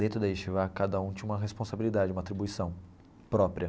Dentro da, cada um tinha uma responsabilidade, uma atribuição própria.